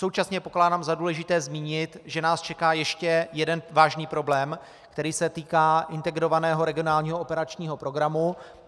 Současně pokládám za důležité zmínit, že nás čeká ještě jeden vážný problém, který se týká Integrovaného regionálního operačního programu.